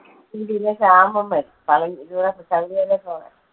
ഉം പിന്നെ ശ്യാമും വരും പളനി ശബരിമലയിൽ പോകാൻ.